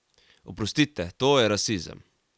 Oprostite, to je rasizem!